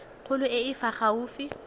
kgolo e e fa gaufi